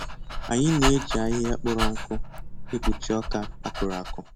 Anyị na-eji ahịhịa kpọrọ nkụ ekpuchi ọka a kụrụ akụ